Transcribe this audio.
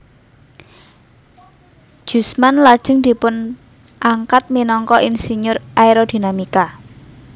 Jusman lajeng dipuangkat minangka insinyur Aerodinamika